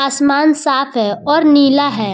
आसमान साफ है और नीला है।